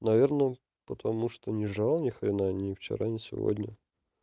наверное потому что не жрал ни хрена ни вчера ни сегодня